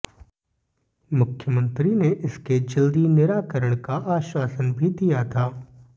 मुख्यमंत्री ने इसके जल्दी निराकरण का आश्वासन भी दिया था